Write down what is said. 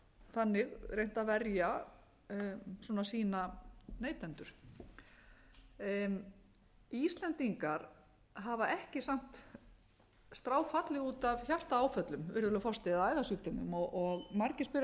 þannig reynt að verja sína neytendur íslendingar hafa ekki samt stráfallið út af hjartaáföllum virðulegur forseti eða æðasjúkdómum margir spyrja sig af hverju erum við ekki verr farin miðað við